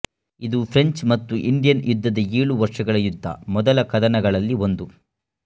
ಇದು ಫ್ರೆಂಚ್ ಮತ್ತು ಇಂಡಿಯನ್ ಯುದ್ಧದ ಏಳು ವರ್ಷಗಳ ಯುದ್ಧ ಮೊದಲ ಕದನಗಳಲ್ಲಿ ಒಂದು